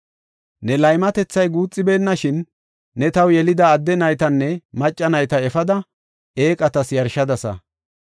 Ne laymatethay guuxibeenashin, ne taw yelida adde naytanne macca nayta efada, eeqatas yarshadasa.